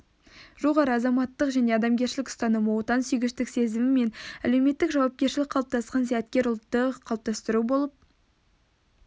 жоғары азаматтық және адамгершілік ұстанымы отансүйгіштік сезімі мен әлеуметтік жауапкершілігі қалыптасқан зияткер ұлтты қалыптастыру болып